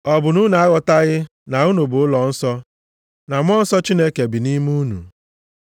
Ọ bụ na unu aghọtaghị na unu bụ ụlọnsọ na Mmụọ Nsọ Chineke bi nʼime unu?